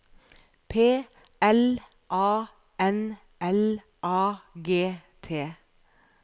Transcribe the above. P L A N L A G T